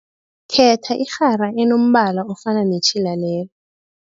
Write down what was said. Khetha irhara enombala ofana netjhila lelo.